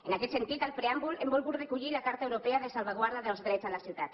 en aquest sentit al preàmbul hem volgut recollir la carta europea de salvaguarda dels drets a la ciutat